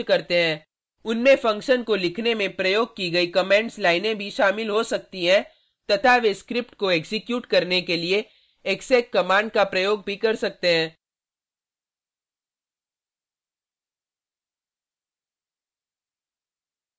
उनमें फंक्शन को लिखने में प्रयोग की गयी कमेंट्स लाइनें भी शामिल हो सकती हैं तथा वे स्क्रिप्ट को एक्जीक्यूट करने के लिए exec कमांड का प्रयोग भी कर सकते हैं